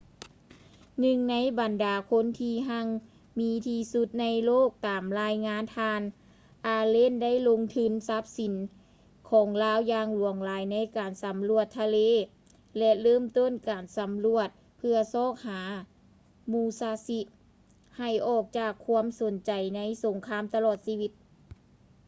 ໜຶ່ງໃນບັນດາຄົນທີ່ຮັ່ງມີທີ່ສຸດໃນໂລກ ຕາມລາຍງານ ທ່ານ ອາເລນ allen ໄດ້ລົງທຶນຊັບສິນຂອງລາວຢ່າງຫຼວງຫຼາຍໃນການສຳຫຼວດທາງທະເລ ແລະ ເລີ່ມຕົ້ນການສຳຫຼວດເພື່ອຊອກຫາ ມູຊາຊິ musashi ໃຫ້ອອກຈາກຄວາມສົນໃຈໃນສົງຄາມຕະຫຼອດຊີວິດ